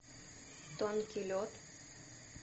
тонкий лед